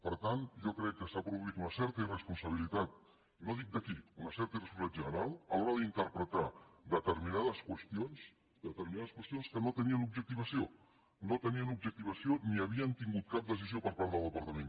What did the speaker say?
per tant jo crec que s’ha produït una certa irresponsabilitat no dic de qui una certa irresponsabilitat general a l’hora d’interpretar determinades qüestions que no tenien objectivació no tenien objectivació ni havien tingut cap decisió per part del departament